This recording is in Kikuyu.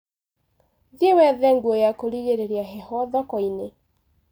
Thiĩ wethe nguo ya kũrigĩrĩria heho thokoinĩ.